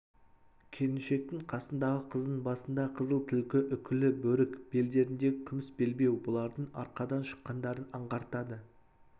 келіншектің қасындағы қыздың басында қызыл түлкі үкілі бөрік белдеріндегі күміс белбеу бұлардың арқадан шыққандарын аңғартады